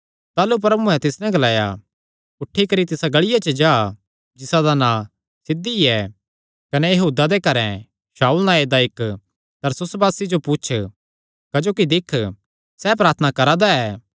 ताह़लू प्रभुयैं तिस नैं ग्लाया उठी करी तिसा गलिया च जा जिसा दा नां सिध्धी ऐ कने यहूदा दे घरैं शाऊल नांऐ दा इक्क तरसुसवासी जो पुछ क्जोकि दिक्ख सैह़ प्रार्थना करा दा ऐ